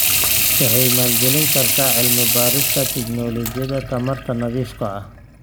Waxay maalgelin kartaa cilmi-baarista tignoolajiyada tamarta nadiifka ah.